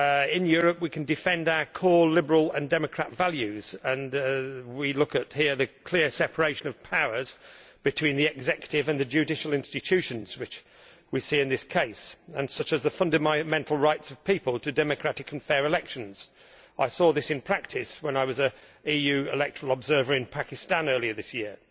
in Europe we can defend our core liberal and democratic values such as the clear separation of powers between the executive and the judicial institutions which we see in this case, and the fundamental right of people to democratic and fair elections. I saw this in practice when I was an EU electoral observer in Pakistan earlier this year.